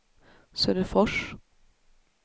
Söderfors